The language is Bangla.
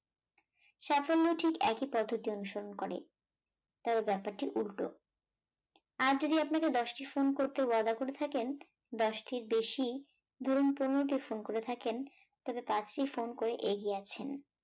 সাফল্য ঠিক একই পদ্ধতি অনুসরণ করে, তবে ব্যাপারটি উল্টো আজ যদি আপনাকে দশটি ফোন করতে ওয়াদা করে থাকেন, দশটির বেশি, ধরুন পনেরোটি ফোন করে থাকেন, তাহলে পাঁচটি ফোন করে এগিয়ে আছেন